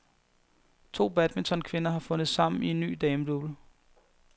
To badmintonkvinder har fundet sammen i en ny damedouble.